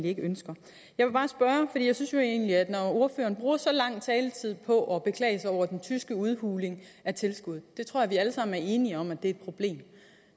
ikke ønsker jeg synes jo egentlig at når ordføreren bruger så lang en taletid på at beklage sig over den tyske udhuling af tilskud det tror jeg vi alle sammen er enige om er et problem